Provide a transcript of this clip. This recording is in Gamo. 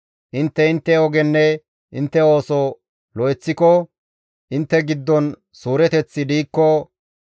Intte intte ogenne intte ooso lo7eththiko, intte giddon suureteththi diikko,